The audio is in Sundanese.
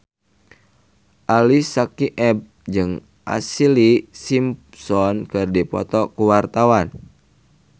Ali Syakieb jeung Ashlee Simpson keur dipoto ku wartawan